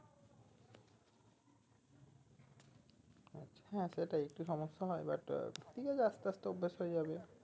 হ্যাঁ সেটাই একটু সমস্যা হয় but ঠিক আছে আস্তে আস্তে অভ্যাস হয়ে যাবে